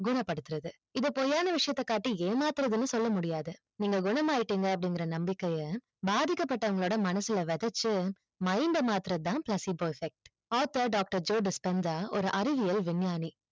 குணப்படுத்துறது இத பொய்யான விஷயத்த காட்டி ஏமாத்துறதுனு சொல்ல முடியாது. நீங்க குணமாயிட்டீங்க அப்டிங்குற நம்பிக்கைய பாதிக்கப்பட்டவங்களோட மனசுல வெதச்சு mind அ மாத்துறது தான் placebo effect author doctor ஒரு அறிவியல் விஞ்ஞானி.